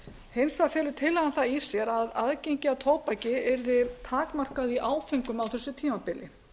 hins vegar felur tillagan það í sér að aðgengi að tóbaki yrði takmarkað í áföngum á þessu tímabili